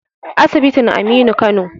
asibitin Aminu Kano